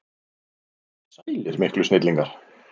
Sælir miklu snillingar!